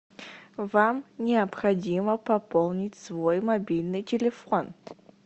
вам необходимо пополнить свой мобильный телефон